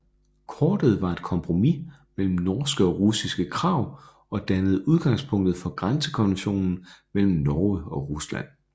Kortet var et kompromis mellem norske og russiske krav og dannede udgangspunktet for grænsekonventionen mellem Norge og Rusland